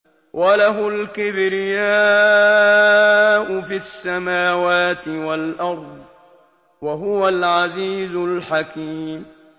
وَلَهُ الْكِبْرِيَاءُ فِي السَّمَاوَاتِ وَالْأَرْضِ ۖ وَهُوَ الْعَزِيزُ الْحَكِيمُ